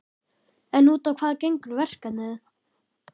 En út á hvað gengur verkefnið?